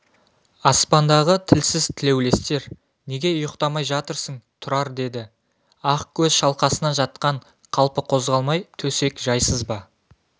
аспандағы тілсіз тілеулестер неге ұйықтамай жатырсың тұрар деді ақкөз шалқасынан жатқан қалпы қозғалмай төсек жайсыз ба